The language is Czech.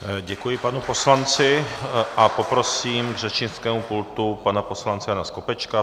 Děkuji panu poslanci a poprosím k řečnickému pultu pana poslance Jana Skopečka.